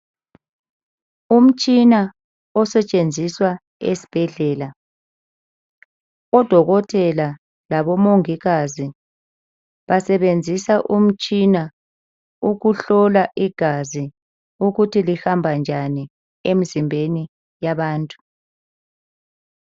Umtshina osetshenziswa esibhedlela. Odokotela labomongikazi basebenzisa umtshina ukuhlola igazi ukuthi lihamba njani emzimbeni yabantu.